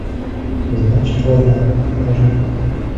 значит война покажи